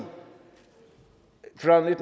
fyrre